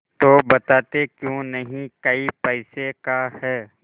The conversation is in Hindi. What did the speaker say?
तो बताते क्यों नहीं कै पैसे का है